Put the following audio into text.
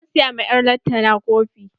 Zan siya ma 'yar lantana kofi.